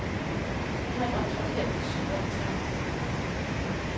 Nu har han optrådt her i syv år i træk.